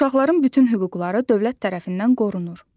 Uşaqların bütün hüquqları dövlət tərəfindən qorunur.